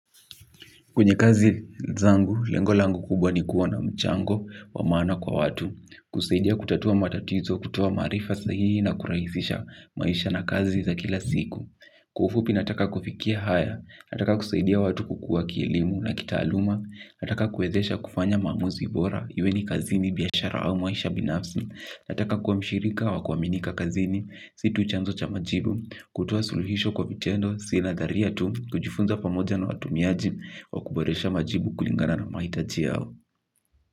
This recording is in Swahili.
Kwenye kazi zangu, lengo langu kubwa ni kuwa na mchango, wa maana kwa watu. Kusaidia kutatua matatizo, kutoa maarifa sahihi na kurahisisha maisha na kazi za kila siku. Kwa ufupi nataka kufikia haya, nataka kusaidia watu kukuwa kielimu na kitaluma, nataka kuwezesha kufanya maamuzi bora, iwe ni kazini, biashara au maisha binafsi, nataka kuwa mshirika wa kuaminika kazini, si tu chanzo cha majibu, kutoa suluhisho kwa vitendo, si nadharia tu, kujifunza pamoja na watumiaji, wakuboresha majibu kulingana na mahitaji yao.